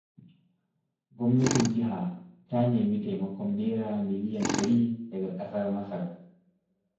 Gwamnatin jiha ta nemi taimakon Naira miliyan 100 daga ƙasar Masar.